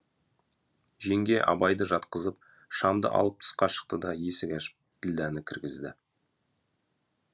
жеңге абайды жатқызып шамды алып тысқа шықты да есік ашып ділдәні кіргізді